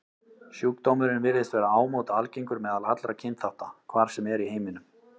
Sjúkdómurinn virðist vera ámóta algengur meðal allra kynþátta, hvar sem er í heiminum.